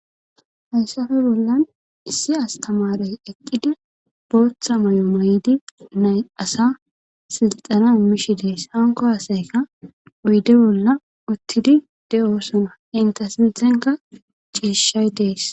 Haysafe bollan issi astamarey eqqidi booththa may7o may7di nay asa silxana mishi dees hanko hasayka uyde bolla uttidi de7osona inta silthenka ciishshay dees.